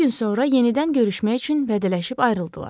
Bir gün sonra yenidən görüşmək üçün vədələşib ayrıldılar.